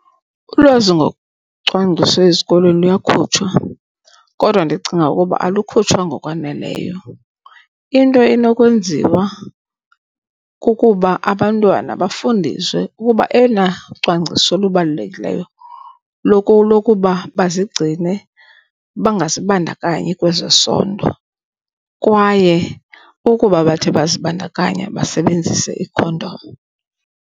Ulwazi ngocwangciso ezikolweni luyakhutshwa kodwa ndicinga ukuba alukhutshwa ngokwaneleyo. Into enokwenziwa kukuba abantwana bafundiswe ukuba eyona cwangciso lubalulekileyo lokuba bazigcine bangazibandakanyi kwezesondo kwaye ukuba bathe bazibandakanya basebenzise ikhondom.